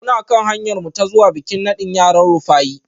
Muna kan hanyarmu ta zuwa bikin nadin yaran Rufaye